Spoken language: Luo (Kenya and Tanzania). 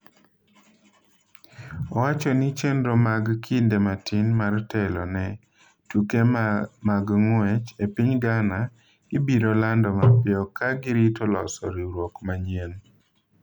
Owacho ni chenro mag kinde matin mar telo ne tuke mag ng’wech e piny Ghana ibiro lando mapiyo, ka girito loso riwruok manyien.